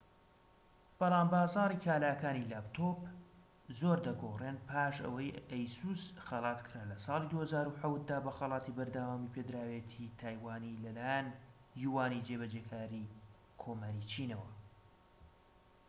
بەڵام بازاڕی کاڵاکانی لاپتۆپ زۆر دەگۆڕێن پاش ئەوەی ئەیسوس خەلاتکرا لە ساڵی ٢٠٠٧ دا بە خەڵاتی بەردەوامیپێدراوێتیی تایوانی لەلایەن یوانی جێبەجێکاری کۆماری چینەوە